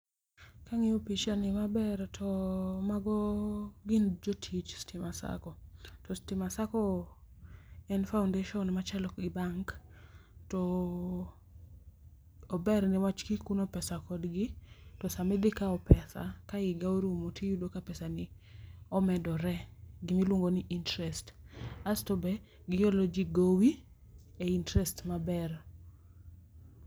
Kang'iyo picha ni maber, to mago gin jotich Stima Sacco. To Stima Sacco en foundation machalo gi bank. To ober niwach kikuno pesa kodgi to sama idhi kao pesa ka higa orumo, tiyudo ka pesa ni omedore, gima iluongo ni interest. Asto be, giholo ji gowi e interest maber.